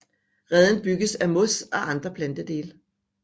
Reden bygges af mos og andre plantedele